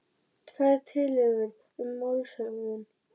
Tvær tillögur um málshöfðun